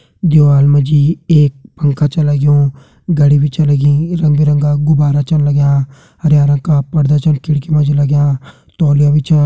दीवाल मा जी एक पंखा छ लग्युं घड़ी भी छ लगी रंग बिरंगा गुब्बारा छन लग्यां हर्या रंग का पर्दा छन खिड़की मा जी लग्यां तौलिया बी छा।